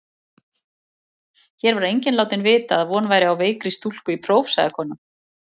Hér var enginn látinn vita að von væri á veikri stúlku í próf, sagði konan.